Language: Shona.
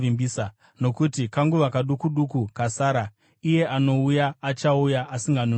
Nokuti kanguva kaduku duku kasara, “Iye anouya, achauya, asinganonoki.